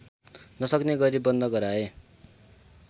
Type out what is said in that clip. नसक्ने गरी बन्द गराए